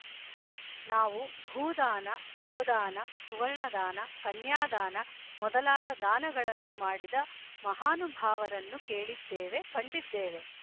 ನಾವು ಭೂದಾನ ಗೊದಾನ ಸುವರ್ಣದಾನ ಕನ್ಯಾದಾನ ಮೊದಲಾದ ದಾನಗಳನ್ನು ಮಾಡಿದ ಮಹಾನುಭಾವರನ್ನು ಕೇಳಿದೇವೆ ಕಂಡಿದ್ದೇವೆ